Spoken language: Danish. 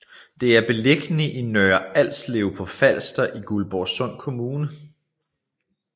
Det er beliggende i Nørre Alslev på Falster i Guldborgsund Kommune